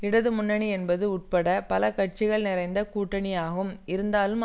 இடது முன்னணி என்பது உட்பட பல கட்சிகள் நிறைந்த கூட்டணியாகும் இருந்தாலும்